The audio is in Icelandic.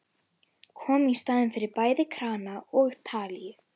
Kom í staðinn fyrir bæði krana og talíu.